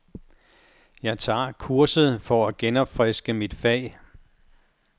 Jeg tager kurset for at genopfriske mit fag.